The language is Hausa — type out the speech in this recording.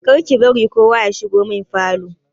Kar ki bari kowa ya shigo min falo!